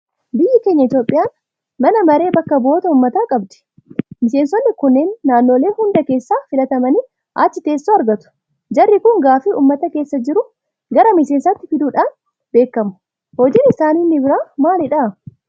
Biyyi keenya Itoophiyaan mana maree bakka bu'oota uummataa qabdi. Miseensonni kunneen naannolee hunda keessaa filatamanii achii teessoo argatu. Jarri kun gaaffii uummata keessa jiru gara miseensaatti fiduudhaan beekamu. Hojiin isaanii inni biraa maalidha?